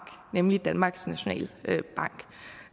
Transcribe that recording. nemlig danmarks nationalbank